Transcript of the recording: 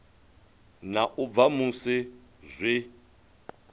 na u bva musi zwi